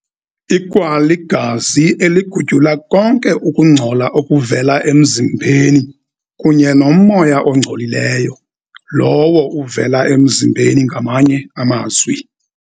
Ikwaligazi eligutyula konke ukungcola okuvela emzimbeni kunye nomoya ongcolileyo, lowo uvela emzimbeni ngamanye amazwi.